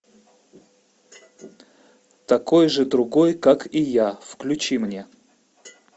такой же другой как и я включи мне